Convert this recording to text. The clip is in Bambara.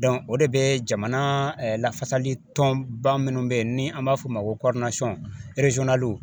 o de bɛ jamana lafasalitɔnba minnu bɛ yen ni an b'a fɔ o ma ko